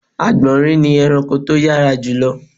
Àgbọ̀nrín ni ẹranko tó yárā jùlọ